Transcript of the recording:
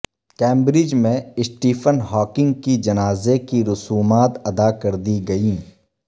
Cambridge میں Stephen Hawking کی جنازے کی رسومات ادا کر دی گئیں